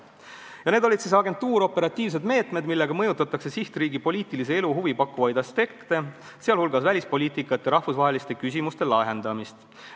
Silmas peetakse agentuuroperatiivseid meetmeid, millega mõjutatakse sihtriigi poliitilise elu huvipakkuvaid aspekte, sh välispoliitikat ja rahvusvaheliste küsimuste lahendamist.